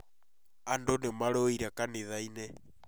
Andũ nĩ marũĩre kanitha-inĩ